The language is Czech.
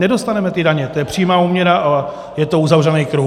Nedostaneme ty daně, to je přímá úměra a je to uzavřený kruh.